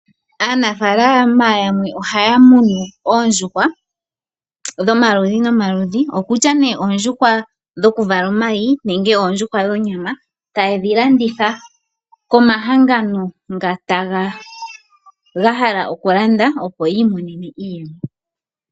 Aanafaalama yamwe ohaya munu oondjuhwa dhomaludhi nomaludhi, okutya nee oondjuhwa dhoku vala omayi nenge oondjuhwa dhonyama, taye dhi landitha komahangano nga ga hala oku landa opo yiimonene iiyemo.